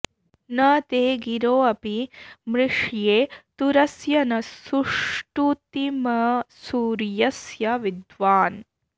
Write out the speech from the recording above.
न ते॒ गिरो॒ अपि॑ मृष्ये तु॒रस्य॒ न सु॑ष्टु॒तिम॑सु॒र्य॑स्य वि॒द्वान्